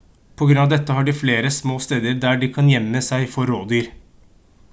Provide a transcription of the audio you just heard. på grunn av dette har de flere små steder der de kan gjemme seg for rovdyr